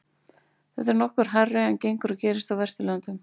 þetta er nokkuð hærra en gengur og gerist á vesturlöndum